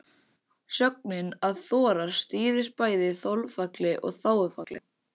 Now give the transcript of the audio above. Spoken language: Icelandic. Sögnin að þora stýrir bæði þolfalli og þágufalli.